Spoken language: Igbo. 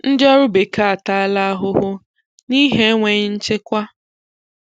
ndị ọrụ bekee ataala ahụhụ nihi enweghị nchekwa